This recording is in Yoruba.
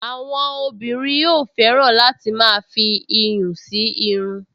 Àwọn obìnrin yóò fẹ́ràn láti máa fi iyùn sí irun